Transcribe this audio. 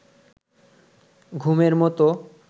ঘুমের মতো